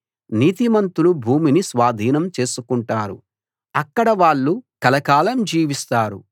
నీతిమంతులు భూమిని స్వాధీనం చేసుకుంటారు అక్కడ వాళ్ళు కలకాలం జీవిస్తారు